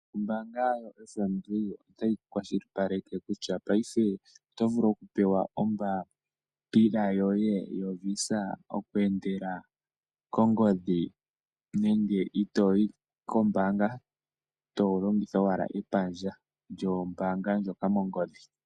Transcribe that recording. Oombaanga yaFNB otayi kwashili paleke kutya paife, otovulu oku pewa ombaapila yoye yoVisa oku endela kongodhi nenge itoyi koombaanga, to longitha owala epandja lyoombaanga ndjoka mongodhi.